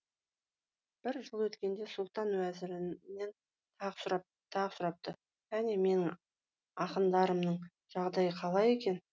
бір жыл өткенде сұлтан уәзірінен тағы сұрапты қане менің ақындарымның жағдайы қалай екен